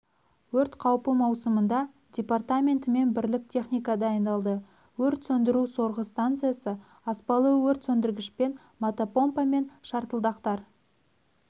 өрт қауіпі маусымында департаментімен бірлік техника дайындалды өрт сөндіру-сорғы станциясы аспалы өрт сөндіргішпен мотопомпа мен шартылдақтар